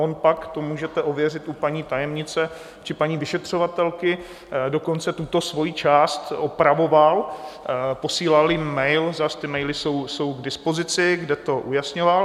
On pak - to můžete ověřit u paní tajemnice či paní vyšetřovatelky - dokonce tuto svoji část opravoval, posílal jim mail, zas ty maily jsou k dispozici, kde to ujasňoval.